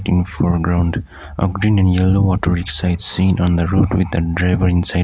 in foreground a green and yellow auto rickshaw is seen on the road with the driver inside.